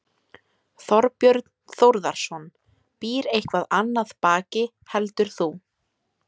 Þorbjörn Þórðarson: Býr eitthvað annað baki heldur þú?